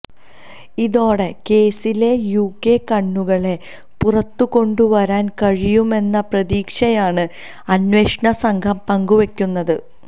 ഇതോടെ കേസിലെ യുകെ കണ്ണികളെ പുറത്തു കൊണ്ടുവരാൻ കഴിയുമെന്ന പ്രതീക്ഷയാണ് അന്വേഷണ സംഘം പങ്കുവയ്ക്കുന്നത്